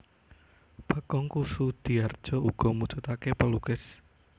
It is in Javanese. Bagong Kussudiardja uga mujudake pelukis